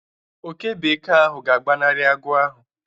Oke bekee ahụ ga-agbanari agụ ahụ.